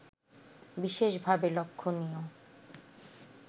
বিশেষভাবে লক্ষণীয়